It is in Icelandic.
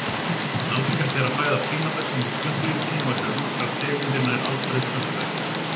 Algengast er að fæða prímata komi úr plönturíkinu og eru nokkrar tegundir nær alfarið plöntuætur.